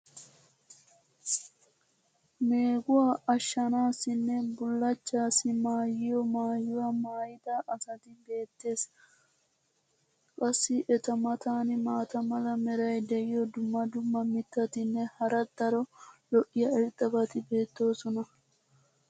meeguwa ashanaassinne bulachchaassi maayiyo maayuwa maayida asati beetees. qassi eta matan maata mala meray diyo dumma dumma mitatinne hara daro lo'iya irxxabati beetoosona.